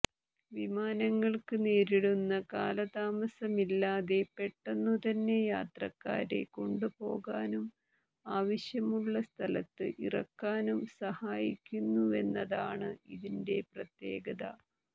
വിമാനങ്ങൾക്ക് നേരിടുന്ന കാലതാമസമില്ലാതെ പെട്ടെന്നുതന്നെ യാത്രക്കാരെ കൊണ്ടുപോകാനും ആവശ്യമുള്ള സ്ഥലത്ത് ഇറക്കാനും സഹായിക്കുന്നുവെന്നതാണ് ഇതിന്റെ പ്രത്യേകത